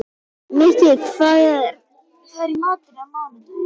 Mikki, hvað er í matinn á mánudaginn?